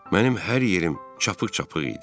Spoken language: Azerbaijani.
Mənim hər yerim çapıq-çapıq idi.